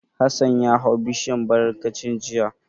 Hassan ya hau bishiyar barankacin jiya.